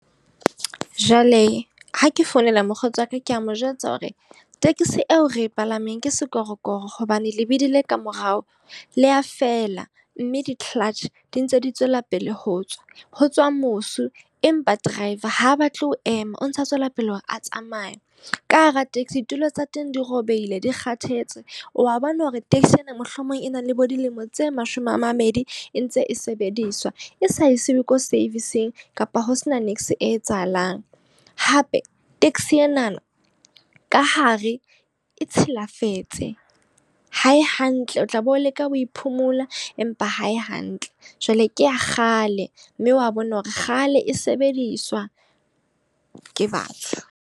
Jwale ha ke founela mokgotsi wa ka, ke a mo jwetsa hore tekesi eo re e palameng ke sekorokoro hobane lebidi le ka morao leya fela. Mme di-clutch, di ntse di tswela pele ho tswa, ho tswa mosi. Empa driver ha batle ho ema o ntsa tswela pele hore a tsamaya. Ka hara taxi ditulo tsa teng di robehile, di kgathetse wa bona hore taxi ena mohlomong e na le bo dilemo tse mashome a mabedi e ntse e sebediswa e sa e siuwe ko service-ng kapa ho se na e etsahalang. Hape taxi enana ka hare e tshilafetse, ha e hantle o tla be o leka ho phomola empa ha e hantle. Jwale ke ya kgale, mme wa bona hore kgale e sebediswa ke batho.